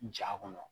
Ja kɔnɔ